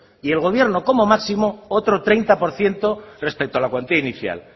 y el gobierno como máximo otros treinta por ciento respecto a la cuantía inicial